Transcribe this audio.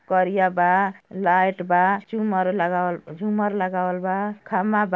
करिया बा। लाइट बा। झूमर लगावल झूमर लगावल बा। खमा बा।